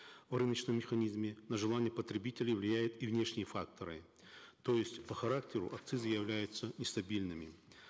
в рыночном механизме на желание потребителей влияют и внешние факторы то есть по характеру акцизы являются нестабильными